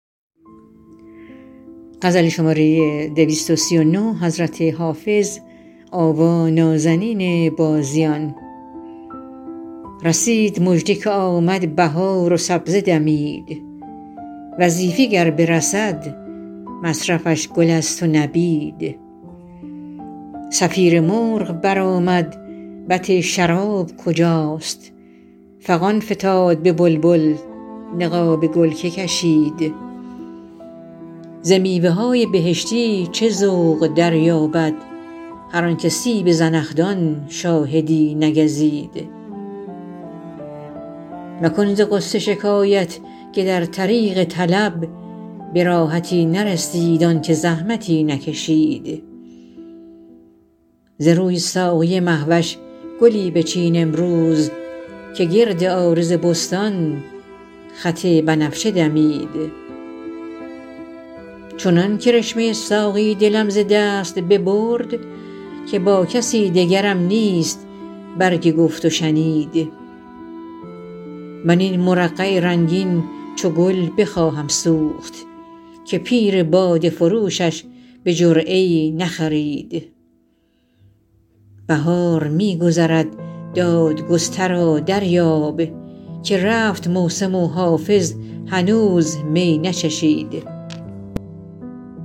رسید مژده که آمد بهار و سبزه دمید وظیفه گر برسد مصرفش گل است و نبید صفیر مرغ برآمد بط شراب کجاست فغان فتاد به بلبل نقاب گل که کشید ز میوه های بهشتی چه ذوق دریابد هر آن که سیب زنخدان شاهدی نگزید مکن ز غصه شکایت که در طریق طلب به راحتی نرسید آن که زحمتی نکشید ز روی ساقی مه وش گلی بچین امروز که گرد عارض بستان خط بنفشه دمید چنان کرشمه ساقی دلم ز دست ببرد که با کسی دگرم نیست برگ گفت و شنید من این مرقع رنگین چو گل بخواهم سوخت که پیر باده فروشش به جرعه ای نخرید بهار می گذرد دادگسترا دریاب که رفت موسم و حافظ هنوز می نچشید